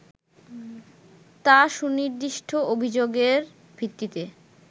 তা সুনির্দিষ্ট অভিযোগের ভিত্তিতে